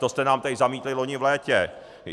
To jste nám tady zamítli loni v létě.